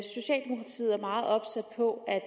meget opsat på at